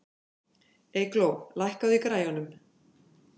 Eygló, lækkaðu í græjunum.